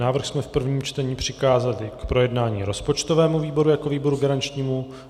Návrh jsme v prvním čtení přikázali k projednání rozpočtovému výboru jako výboru garančnímu.